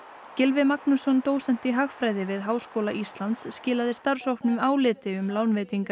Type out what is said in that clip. Gylfi Magnússon dósent í hagfræði við Háskóla Íslands skilaði starfshópnum áliti um lánveitingar